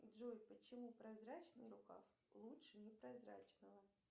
джой почему прозрачный рукав лучше непрозрачного